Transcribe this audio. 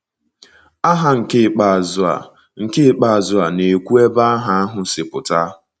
Aha nke ikpeazụ a nke ikpeazụ a na-ekwu ebe aha ahụ si pụta